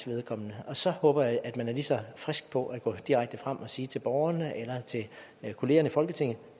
og så håber jeg at man er lige så frisk på at gå direkte frem og sige til borgerne eller kollegaerne i folketinget